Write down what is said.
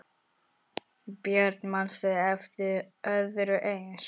Björn: Manstu eftir öðru eins?